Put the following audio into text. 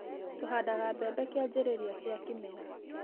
Tũhandaga mbembe kĩanjĩrĩria gia kĩmera.